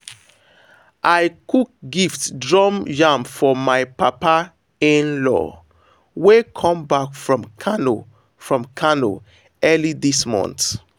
i cook gift drum yam for my papa-in-law wey come back from kano from kano early this month.